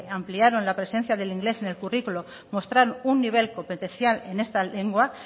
ampliaron la presencia del inglés en el currículo mostraron un nivel competencial en esta lengua